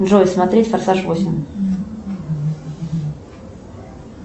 джой смотреть форсаж восемь